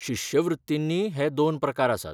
शिश्यवृत्तींनीय हे दोन प्रकार आसात.